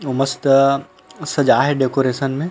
ओ मस्त सजा हे डेकोरेशन में--